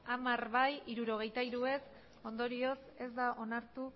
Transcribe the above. hamar bai hirurogeita hiru ez ondorioz ez da onartu